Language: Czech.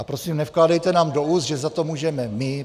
A prosím, nevkládejte nám do úst, že za to můžeme my.